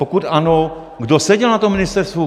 Pokud ano, kdo seděl na tom ministerstvu?